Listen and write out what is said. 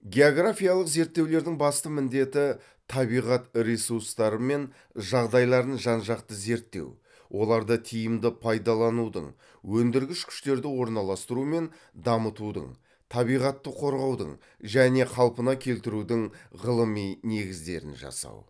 географиялық зерттеулердің басты міндеті табиғат ресурстары мен жағдайларын жан жақты зерттеу оларды тиімді пайдаланудың өндіргіш күштерді орналастыру мен дамытудың табиғатты қорғаудың және қалпына келтірудің ғылыми негіздерін жасау